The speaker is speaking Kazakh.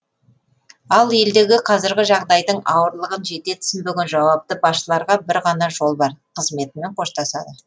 ал елдегі қазіргі жағдайдың ауырлығын және түсінбеген жауапты басшыларға бір ғана жол бар қызметімен қоштасады